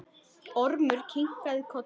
Ormur kinkaði kolli.